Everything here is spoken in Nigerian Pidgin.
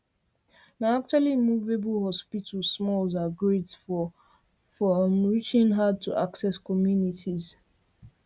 na actually movable hospital smalls are great for um reaching hardtoaccess communities